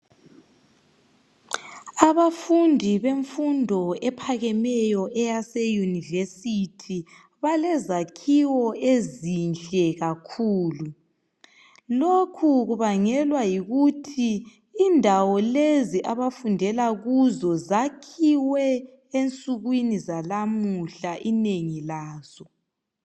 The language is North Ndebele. Abafundi bemfundo ephakemeyo eyase univesithi balezakhiwo ezinhle kakhulu. Lokhu kubangelwa yikuthi indawo lezi abafundela kuzo zakhiwe ensukwini zalamuhla inengi lazo.